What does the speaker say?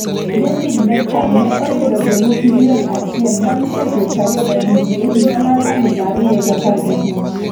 David Beckham ne oyudo jolup milion achiel bang' seche 25 e higa mar 2015.